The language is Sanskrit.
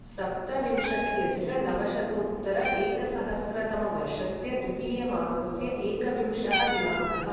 सप्तविंशत्यधिक नवशतोत्तर एकसहस्रतमवर्षस्य द्वितीयमासस्य एकविंशः दिनाङ्कः